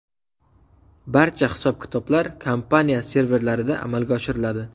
Barcha hisob-kitoblar kompaniya serverlarida amalga oshiriladi.